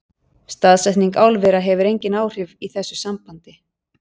Staðsetning álvera hefur engin áhrif í þessu sambandi.